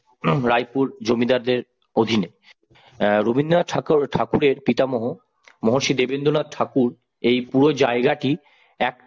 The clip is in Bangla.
রায়পুর জমিদারদের অধীনে অ্যাঁ রবীন্দ্রনাথ ঠাকুর ঠাকুরের পিতামহ মহর্ষি দেবেন্দ্রনাথ ঠাকুর এই পুরো জায়গাটি এক